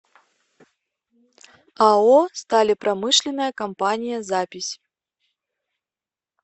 ао сталепромышленная компания запись